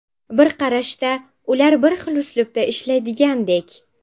Bir qarashda, ular bir xil uslubda ishlaydigandek.